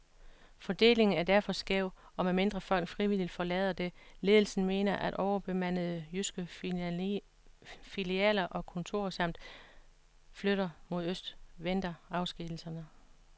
Fordelingen er derfor skæv, og medmindre folk frivilligt forlader det, ledelsen mener er overbemandede jyske filialer og kontorer samt flytter mod øst, venter afskedigelserne.